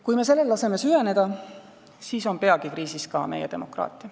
Kui me sellel laseme süveneda, siis on peagi kriisis ka meie demokraatia.